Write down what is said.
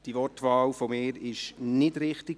Meine Wortwahl war nicht richtig.